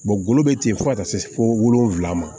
golo be ten fo ka taa se fo wolonfila ma